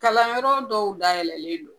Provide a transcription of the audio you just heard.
Kalanyɔrɔ dɔw dayɛlɛnlen don.